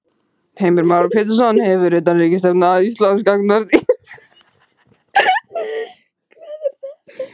Heimir Már Pétursson: Hefur utanríkisstefna Íslands gagnvart Ísrael breyst í tíð þessarar stjórnar?